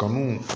Kanu